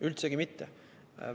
Üldsegi mitte!